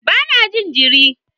Ba na jin jiri